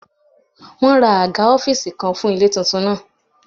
Wọ́n ra àga ọ́fíìsì kan fún ilé tuntun náà